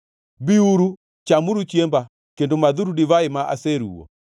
Biuru, chamuru chiemba kendo madhuru divai ma aseruwo.